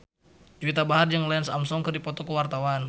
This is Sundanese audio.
Juwita Bahar jeung Lance Armstrong keur dipoto ku wartawan